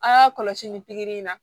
An y'a kɔlɔsi ni pikiri in na